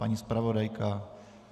Paní zpravodajka?